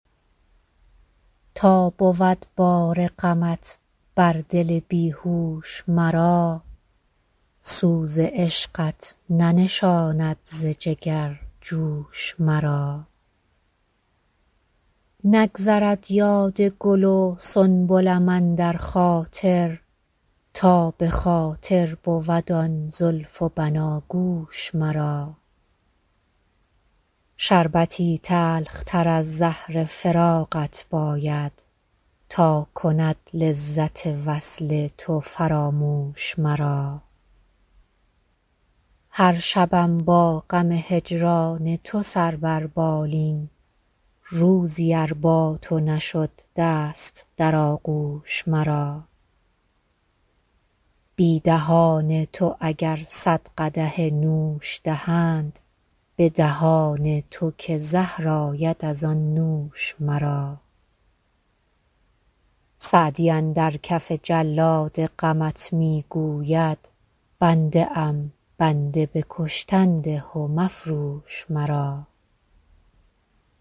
تا بود بار غمت بر دل بی هوش مرا سوز عشقت ننشاند ز جگر جوش مرا نگذرد یاد گل و سنبلم اندر خاطر تا به خاطر بود آن زلف و بناگوش مرا شربتی تلختر از زهر فراقت باید تا کند لذت وصل تو فراموش مرا هر شبم با غم هجران تو سر بر بالین روزی ار با تو نشد دست در آغوش مرا بی دهان تو اگر صد قدح نوش دهند به دهان تو که زهر آید از آن نوش مرا سعدی اندر کف جلاد غمت می گوید بنده ام بنده به کشتن ده و مفروش مرا